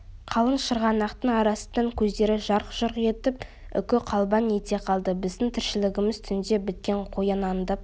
қалың шырғанақтың арасынан көздері жарқ-жұрқ етіп үкі қалбаң ете қалды біздің тіршілігіміз түнде біткен қоян аңдып